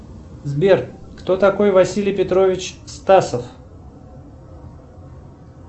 сбер кто такой василий петрович стасов